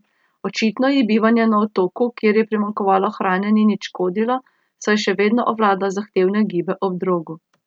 Očitno ji bivanje na otoku, kjer je primanjkovalo hrane, ni nič škodilo, saj še vedno obvlada zahtevne gibe ob drogu.